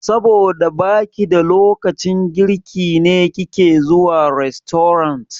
Saboda baki da lokacin girki ne kike zuwa rastorant?